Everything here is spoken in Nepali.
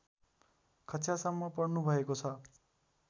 कक्षासम्म पढ्नुभएको छ